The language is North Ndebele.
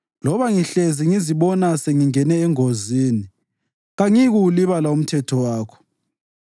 Loba ngihlezi ngizibona sengingene engozini, kangiyi kuwulibala umthetho wakho.